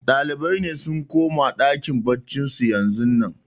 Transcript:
Ɗalibai sun koma ɗakin baccin su yanzun nan